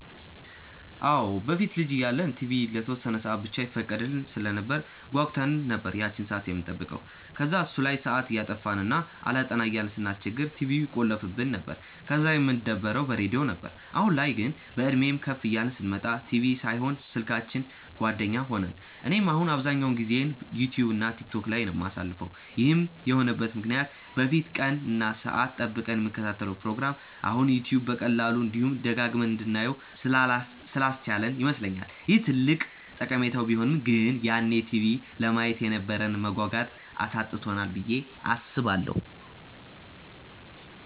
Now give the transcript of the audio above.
አዎ። በፊት ልጅ እያለን ቲቪ ለተወሰነ ሰአት ብቻ ይፈቀድልን ስለነበር ጓጉተን ነበር ያቺን ሰአት የምንጠብቀው። ከዛ እሱ ላይ ሰአት እያጠፋን እና አላጠና እያልን ስናስቸግር ቲቪውን ይቆልፉብን ነበር፤ ከዛ የምንደበረው በሬድዮ ነበር። አሁን ላይ ግን፤ በእድሜም ከፍ እያልን ስንመጣ ቲቪ ሳይሆን ስልካችን ጓደኛ ሆነን። እኔም አሁን አብዛኛውን ጊዜዬን ዩትዩብ እና ቲክቶክ ላይ ነው የማሳልፈው። ይህም የሆነበት ምክንያት በፊት ቀን እና ሰአት ጠብቀን የምንከታተለውን ፕሮግራም አሁን ዩትዩብ በቀላሉ፤ እንዲሁም ደጋግመን እንድናየው ስላስቻለን ይመስለኛል። ይህ ትልቅ ጠቀሜታው ቢሆንም ግን ያኔ ቲቪ ለማየት የነበረንን መጓጓት አሳጥቶናል ብዬ አስባለሁ።